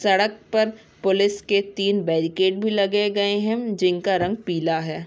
सड़क पर पुलिस के तीन बेरिकेड भी लगे गए हैं जिनका रंग पीला है।